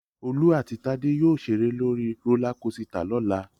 Olú àti Tádé yóò ṣeré lórí rólá kosità lọ́la